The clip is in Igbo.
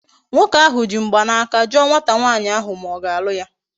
Nwoke ahu ji mgbanaka juo nwata nwaanyi ahu ma o ga-alu ya